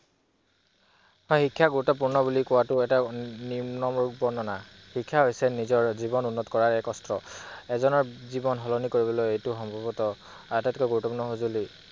হয় শিক্ষা গুৰুত্বপূৰ্ণ বুলি কোৱাতো এটা নিম্ন বৰ্ণনীয় । শিক্ষা হৈছে এটা জীৱন উন্নত কৰা এক কষ্ট। এজনৰ জীৱন সলনি কৰিবলৈ এইটো আটাইতকৈ গুৰুত্বপূৰ্ণ সঁজুলি।